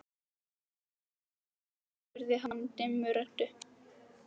Ert þú að heimsækja einhvern? spurði hann dimmri röddu.